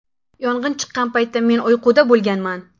Yong‘in chiqqan paytda men uyquda bo‘lganman.